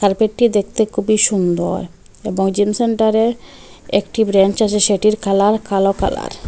পেটটি দেখতে খুবই সুন্দর এবং জিম সেন্টারে একটি ব্রেঞ্চ আছে সেটির কালার কালো কালার ।